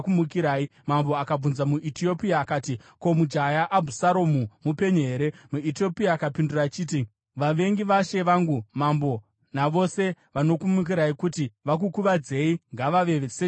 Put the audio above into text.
Mambo akabvunza muEtiopia akati, “Ko, mujaya Abhusaromu mupenyu here?” MuEtiopia akapindura achiti, “Vavengi vashe wangu mambo navose vanokumukirai kuti vakukuvadzei ngavave sejaya iro.”